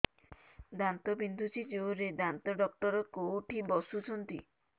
ଦାନ୍ତ ବିନ୍ଧୁଛି ଜୋରରେ ଦାନ୍ତ ଡକ୍ଟର କୋଉଠି ବସୁଛନ୍ତି